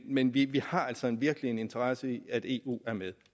men vi har altså virkelig en interesse i at eu er med